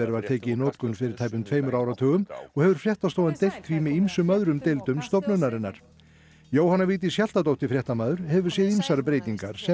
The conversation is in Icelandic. var tekið í notkun fyrir tæpum tveimur áratugum og hefur fréttastofan deilt því með ýmsum öðrum deildum stofnunarinnar Jóhanna Vigdís Hjaltadóttir fréttamaður hefur séð ýmsar breytingar sem